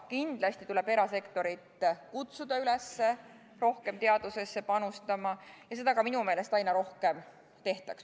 Kindlasti tuleb erasektorit kutsuda üles rohkem teadusesse panustama ja seda minu meelest ka aina rohkem tehakse.